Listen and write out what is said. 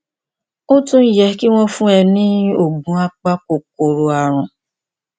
ó tún yẹ kí wọn fún ọ ní oògùn apakòkòrò ààrùn